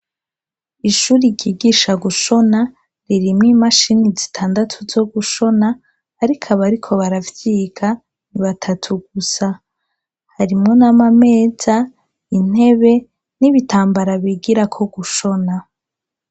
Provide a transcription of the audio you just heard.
Ishuri ryigisha gushona ririmwo imashini zitandatu zo gushona ariko abariko baravyiga ni batatu gusa harimwo n'amameza ,ntebe n'ibitambara bigirako gushona.